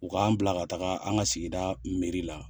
U k'an bila ka taga an ka sigida meri la